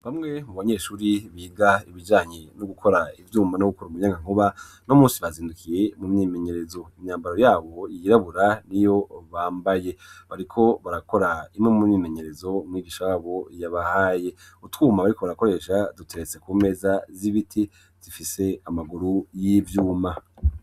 Bamwe mu banyeshuri biga ibijanye no gukora ivyuma no gukora mu muyangankuba n'umunsi bazindukiye mu myimenyerezo, imyambaro yabo yirabura niyo bambaye bariko barakora imwe mu myimenyerezo umwigisha wabo yabahaye utwuma bariko barakoresha duteretse ku meza z'ibiti zifise amaguru y'ivyuma.